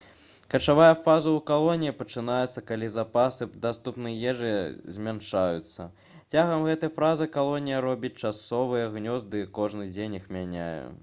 качавая фаза ў калоніі пачынаецца калі запасы даступнай ежы змяншаюцца цягам гэтай фазы калонія робіць часовыя гнёзды і кожны дзень іх мяняе